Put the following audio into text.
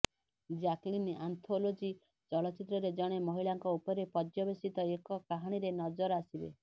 Jacqueline anthology ଚଳଚ୍ଚିତ୍ରରେ ଜଣେ ମହିଳାଙ୍କ ଉପରେ ପର୍ଯ୍ୟବସିତ ଏକ କାହାଣୀରେ ନଜର ଆସିବେ